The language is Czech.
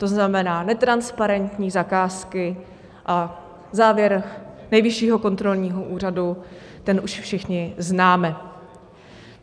To znamená netransparentní zakázky a závěr Nejvyššího kontrolního úřadu, ten už všichni známe.